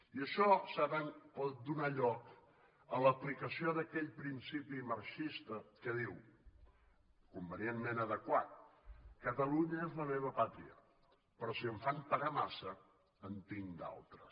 i això saben pot donar lloc a l’aplicació d’aquell principi marxista que diu convenientment adequat catalunya és la meva pàtria però si em fan pagar massa en tinc d’altres